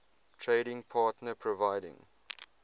trading partner providing